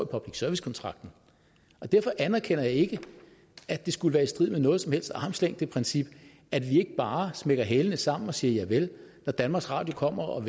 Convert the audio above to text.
public service kontrakten og derfor anerkender jeg ikke at det skulle være i strid med noget som helst armslængdeprincip at vi ikke bare smækker hælene sammen og siger javel når danmarks radio kommer og